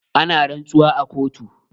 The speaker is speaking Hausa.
Ana rantsuwa a kotu.